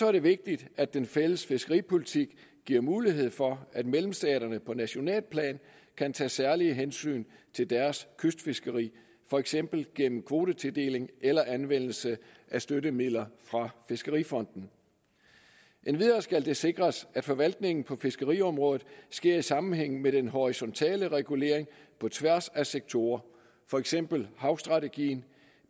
er vigtigt at den fælles fiskeripolitik giver mulighed for at medlemsstaterne på nationalt plan kan tage særlige hensyn til deres kystfiskeri for eksempel gennem kvotetildeling eller anvendelse af støttemidler fra fiskerifonden endvidere skal det sikres at forvaltningen på fiskeriområdet sker i sammenhæng med den horisontale regulering på tværs af sektorer for eksempel havstrategien